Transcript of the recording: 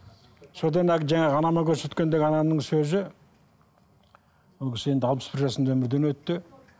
содан әлгі жаңағы анама көрсеткендегі анамның сөзі ол кісі енді алпыс бір жасында өмірден өтті